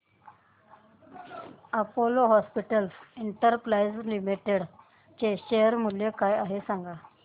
Apollo hospitals enterprise limited चे share मूल्य काय आहे सांगा